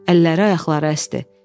Əlləri, ayaqları əsdi.